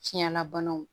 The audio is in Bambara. Tiɲɛlabanaw